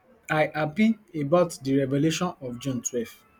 i happy about di revelation of june twelve